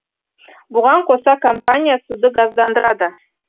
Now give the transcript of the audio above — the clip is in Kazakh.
бұған қоса компания суды газдандырады